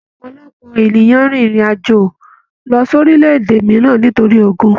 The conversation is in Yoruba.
Ọpọlọpọ rìn ìrin àjò lọ sí orílẹ̀-èdè mìíràn nítorí ogún